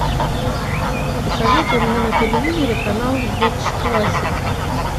посоветуй мне на телевизоре канал бридж классик